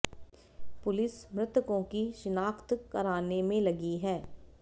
police मृतकों की शिनाख्त कराने में लगी है